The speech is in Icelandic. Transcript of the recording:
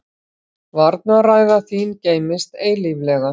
Varnarræða þín geymist eilíflega.